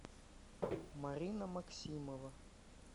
марина максимова